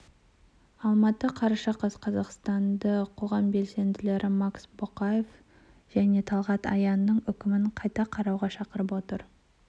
алматы қараша қаз қазақстанды қоғам белсенділері макс бокаев және талғат аянның үкімін қайта қарауға шақырып отыр